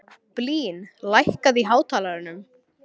Blín, lækkaðu í hátalaranum.